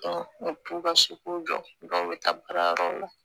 U t'u ka so kow jɔ dɔw bɛ taa baarayɔrɔ la